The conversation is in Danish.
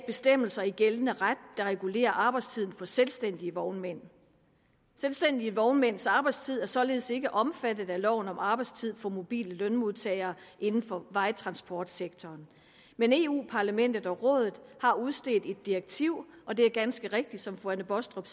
bestemmelser i gældende ret der regulerer arbejdstiden for selvstændige vognmænd selvstændige vognmænds arbejdstid er således ikke omfattet af loven om arbejdstid for mobile lønmodtagere inden for vejtransportsektoren men europa parlamentet og rådet har udstedt et direktiv og det var ganske rigtigt som fru anne baastrup